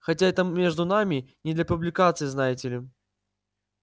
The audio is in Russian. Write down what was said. хотя это между нами не для публикации знаете ли